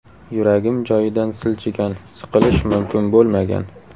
Yuragim joyidan siljigan, siqilish mumkin bo‘lmagan.